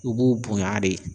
I b'u bonya de